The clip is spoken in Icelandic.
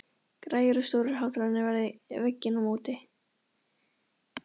Græjur og stórir hátalarar við vegginn á móti.